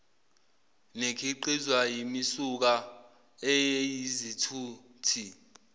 nekhiqizwa yimisuka eyizithuthi